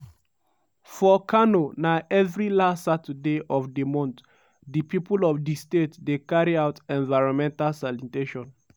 for kano na evri last saturday of di month di pipo of di state dey carry out environmental sanitation.